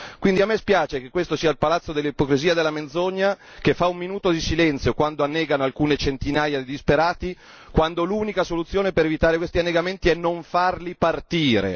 Quindi a me spiace che questo sia il palazzo dell'ipocrisia e della menzogna, che fa un minuto di silenzio quando annegano alcune centinaia di disperati, quando l'unica soluzione per evitare questi annegamenti è non farli partire.